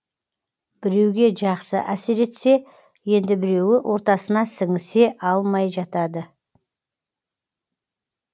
біреуге жақсы әсер етсе енді біреуі ортасына сіңісе алмай жатады